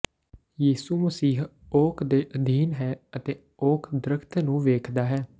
ਯਿਸੂ ਮਸੀਹ ਓਕ ਦੇ ਅਧੀਨ ਹੈ ਅਤੇ ਓਕ ਦਰਖ਼ਤ ਨੂੰ ਵੇਖਦਾ ਹੈ